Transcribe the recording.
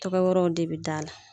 Tɔgɔ wɛrɛw de bɛ d'a la.